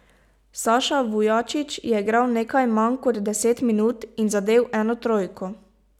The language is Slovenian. Saša Vujačić je igral nekaj manj kot deset minut in zadel eno trojko.